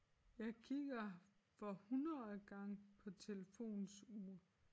Jeg kigger for hundredene gang på telefonens ur